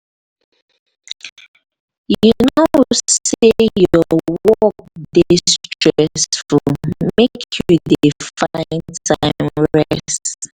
you know sey your work dey stressful make you dey find time rest.